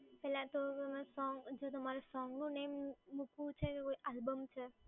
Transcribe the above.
પહેલાં તો તમારે જો તમારે સોંગનું name મૂકવું છે કે કોઈ આલ્બમ છે?